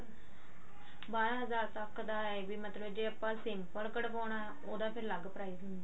ਬਾਰਾਂ ਹਜ਼ਾਰ ਤੱਕ ਦਾ ਇਹ ਵੀ ਮਤਲਬ ਜੇ ਆਪਾਂ simple ਕਢਵਾਉਣਾ ਉਹਦਾ ਫ਼ੇਰ ਲੱਗ price ਹੁੰਦਾ